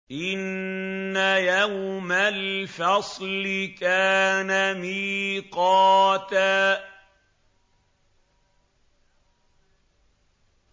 إِنَّ يَوْمَ الْفَصْلِ كَانَ مِيقَاتًا